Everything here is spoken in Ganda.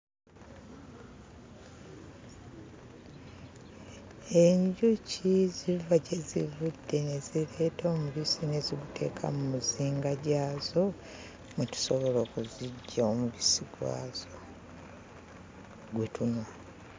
Enjuki ziva gye zivudde ne zireeta omubisi ne ziguteeka mmuzinga gyazo ne tusobola okuziggya omubisi gwazo gwe tunywa.